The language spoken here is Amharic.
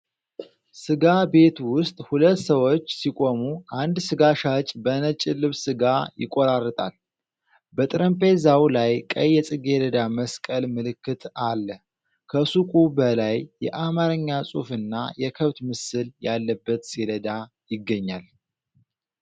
ስጋ ቤት ውስጥ ሁለት ሰዎች ሲቆሙ፣ አንድ ስጋ ሻጭ በነጭ ልብስ ስጋ ይቆራርጣል። በጠረጴዛው ላይ ቀይ የጽጌረዳ መስቀል ምልክት አለ። ከሱቁ በላይ የአማርኛ ጽሑፍና የከብት ምስል ያለበት ሰሌዳ ይገኛል ።